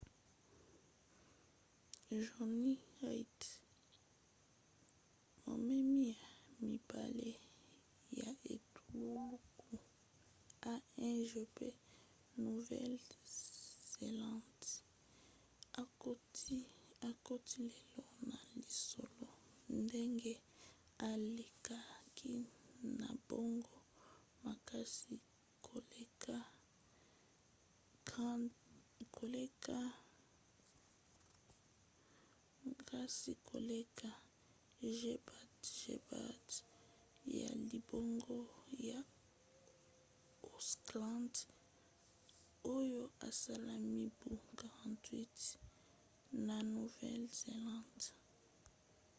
jonny reid momemi ya mibale ya etuluku a1gp nouvelle-zélande akoti lelo na lisolo ndenge alekaki na mbango makasi koleka gbagba ya libongo ya auckland oyo esala mibu 48 na nouvelle-zélande